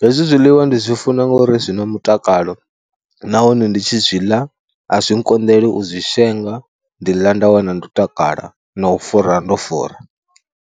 hezwi zwiḽiwa ndi zwi funa ngori zwi na mutakalo nahone ndi tshi zwi ḽa a zwi nkonḓela u zwi shenga. Ndi ḽa nda wana ndo takala na u fura ndo fura.